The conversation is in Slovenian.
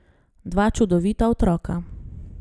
Dva čudovita otroka.